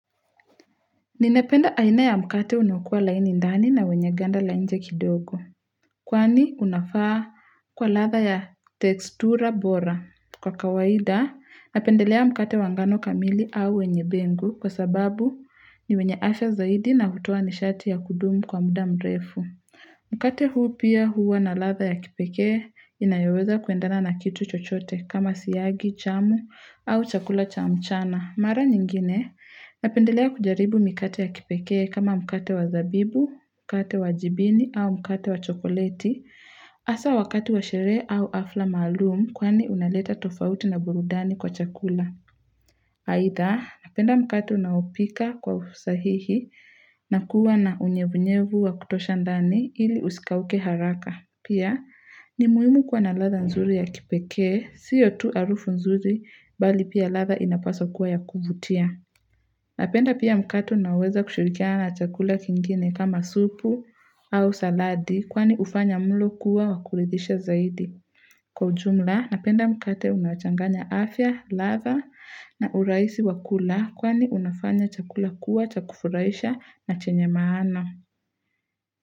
Ninapenda aina ya mkate unaokua laini ndani na wenye ganda la nje kidogo. Kwani unafaa kwa ladha ya tekstura bora. Kwa kawaida, napendelea mkate wa ngano kamili au wenye bengu kwa sababu ni wenye afya zaidi na hutoa nishati ya kudumu kwa muda mrefu. Mkate huu pia huwa na ladha ya kipekee inayoweza kuendana na kitu chochote kama siyagi, chamu au chakula cha mchana. Mara nyingine, napendelea kujaribu mikate ya kipekee kama mkate wa zabibu, mkate wa jibini au mkate wa chokoleti, asa wakati wa sherehe au afla maalum kwani unaleta tofauti na burudani kwa chakula. Haida, napenda mkate unaopika kwa usahihi na kuwa na unyevunyevu wa kutosha ndani ili usikauke haraka. Pia, ni muhimu kwa na ladha nzuri ya kipekee, siyo tu arufu nzuri, bali pia ladha inapaswa kua ya kuvutia. Napenda pia mkato unaoweza kushirikia na chakula kingine kama supu au saladi, kwani ufanya mlo kuwa wakuridhisha zaidi. Kwa ujumla, napenda mkate unachanganya afya, latha na uraisi wa kula, kwani unafanya chakula kuwa chakufuraisha na chenye maana.